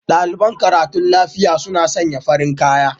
Daliɓan karatun lafiƴa suna sanya farin kaƴa